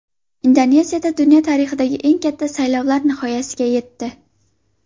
Indoneziyada dunyo tarixidagi eng katta saylovlar nihoyasiga yetdi.